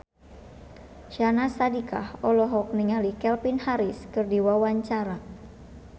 Syahnaz Sadiqah olohok ningali Calvin Harris keur diwawancara